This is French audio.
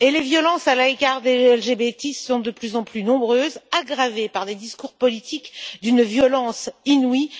En outre, les violences à l'égard des LGBTI sont de plus en plus nombreuses, aggravées par des discours politiques d'une violence inouïe.